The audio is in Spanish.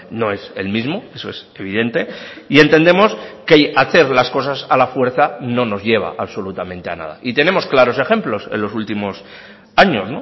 no es el mismo eso es evidente y entendemos que hacer las cosas a la fuerza no nos lleva absolutamente a nada y tenemos claros ejemplos en los últimos años